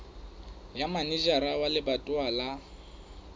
ya manejara wa lebatowa wa